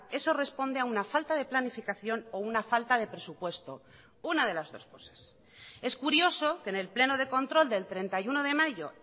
eso responde a una falta de planificación o una falta de presupuesto una de las dos cosas es curioso que en el pleno de control del treinta y uno de mayo